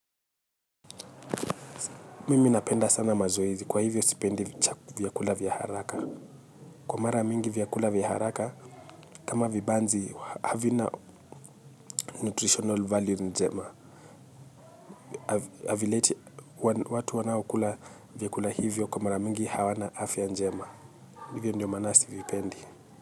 Mimi napenda sana mazoezi kwa hivyo sipendi vyakula vya haraka kwa mara mingi vyakula vya haraka kama vibanzi havina nutritional value njema havileti watu wanaokula vyakula hivyo kwa mara mingi hawana afya njema hivyo ndio maana sivipendi.